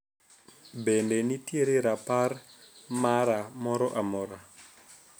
Bende nitiere rapar mara moro amora